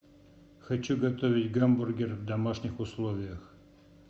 хочу готовить гамбургер в домашних условиях